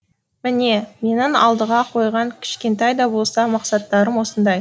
міне менің алдыға қойған кішкентай да болса мақсаттарым осындай